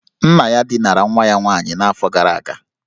Nna ya dinara nwa ya nwaanyị n'afọ gara aga